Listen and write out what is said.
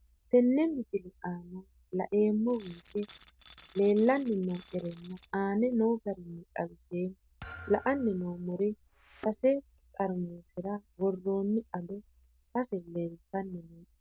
Tenne misile aana laeemmo woyte leelanni noo'ere aane noo garinni xawiseemmo. La'anni noomorri sase xarimuserra worronni ado sase leeltanni nooe